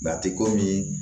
a tɛ komi